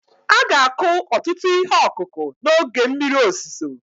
A ga-akụ ọtụtụ ihe ọkụkụ n'oge mmiri ozuzo